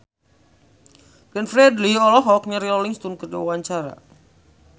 Glenn Fredly olohok ningali Rolling Stone keur diwawancara